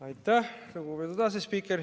Aitäh, lugupeetud asespiiker!